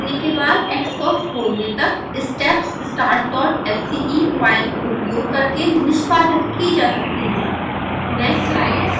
scilab launch करने के बाद xcos खोलने तक स्टेप्स startsce फाइल उपयोग करके निष्पादित की जा सकती है